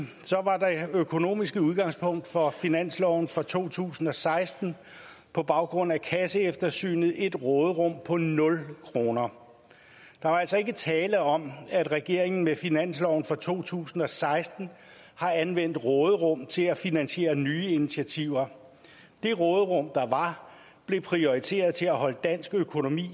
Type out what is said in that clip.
økonomiske udgangspunkt for finansloven for to tusind og seksten på baggrund af kasseeftersynet et råderum på nul kroner der var altså ikke tale om at regeringen med finansloven for to tusind og seksten har anvendt råderum til at finansiere nye initiativer det råderum der var blev prioriteret til at holde dansk økonomi